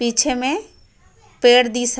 पीछे में पेड़ दिसा--